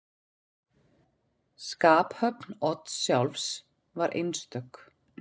Skaphöfn Odds sjálfs var einstök.